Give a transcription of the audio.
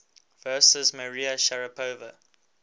versus maria sharapova